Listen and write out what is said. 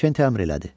Kent əmr elədi.